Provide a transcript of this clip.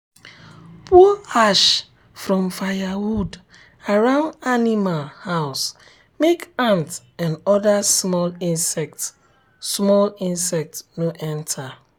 pour ash from firewood around animal um house make ant and other small insects small insects no enter.